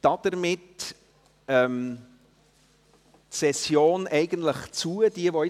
Damit schliesse ich eigentlich die Session.